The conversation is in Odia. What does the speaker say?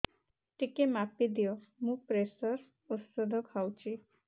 ଟିକେ ମାପିଦିଅ ମୁଁ ପ୍ରେସର ଔଷଧ ଖାଉଚି